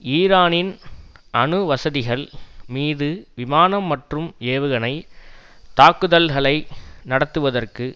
ஈரானின் அணு வசதிகள் மீது விமானம் மற்றும் ஏவுகணை தாக்குதல்களை நடத்துவதற்கு